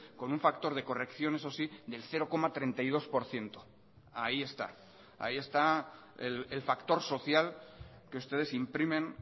con un factor de corrección eso sí del cero coma treinta y dos por ciento ahí está ahí está el factor social que ustedes imprimen